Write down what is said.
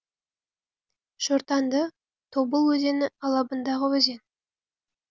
шортанды тобыл өзені алабындағы өзен